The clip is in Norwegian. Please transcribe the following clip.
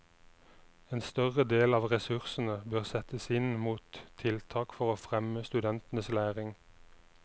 En større del av ressursene bør rettes inn mot tiltak for å fremme studentenes læring.